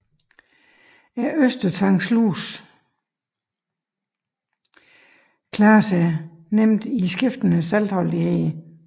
Østersøtanglusen klarer sig nemt i skiftende saltholdigheder